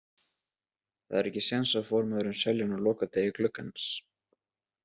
Það er ekki séns að formaðurinn selji hann á lokadegi gluggans.